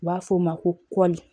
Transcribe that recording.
U b'a f'o ma ko kɔli